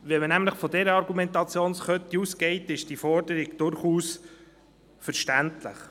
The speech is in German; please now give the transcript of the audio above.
Geht man nämlich von dieser Argumentationskette aus, ist diese Forderung durchaus verständlich.